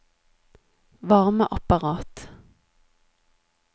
varmeapparat